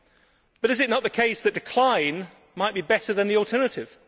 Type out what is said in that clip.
However, is it not the case that decline might be better than the alternative?